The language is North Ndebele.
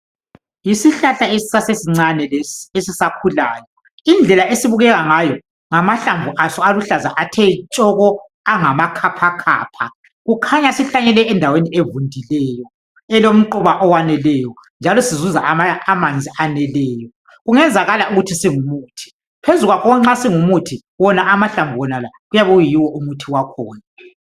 Yisihlahla esasesincane lesi esisa khulayo. Indlela esibukeka ngayo ngamahlamvu aso aluhlaza athe tshoko angama khapha khapha kukhanya sihlanyelwe endaweni evundileyo elomquba owaneleyo njalo sizuza amanzi aneleyo. Kungenzakala ukuthi singumuthi phezulu kwakho nxa singumuthi wona amahlamvu wonala kuyabe kuyiwo umuthi wakhona.